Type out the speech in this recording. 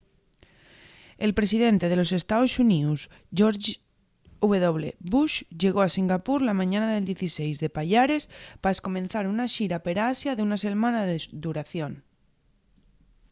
el presidente de los estaos xuníos george w. bush llegó a singapur la mañana del 16 de payares pa escomenzar una xira per asia d’una selmana de duración